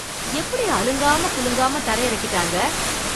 எப்படி அலங்காம குலுங்காம தரையிறக்கிட்டாங்க!